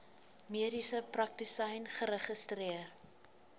mediese praktisyn geregistreer